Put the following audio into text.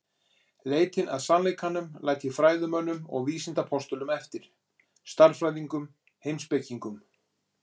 Leitina að sannleikanum læt ég fræðimönnum og vísindapostulum eftir: stærðfræðingum, heimspekingum.